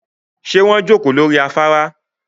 Ṣé wọ́n jókòó lórí afárá